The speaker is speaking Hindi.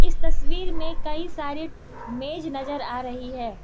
तस्वीर मे कई सारे मेज नज़र आ रही है।